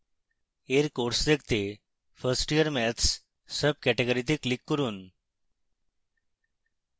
এর courses দেখতে 1st year maths subcategory তে click করুন